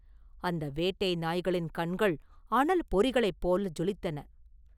அந்த வேட்டை நாய்களின் கண்கள் அனல் பொறிகளைப் போல் ஜொலித்தன.